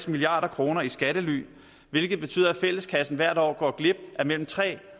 milliard kroner i skattely hvilket betyder at fælleskassen hvert år går glip af mellem tre